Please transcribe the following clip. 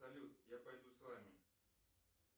салют я пойду с вами